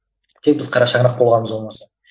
тек біз қара шаңырақ болғанымыз болмаса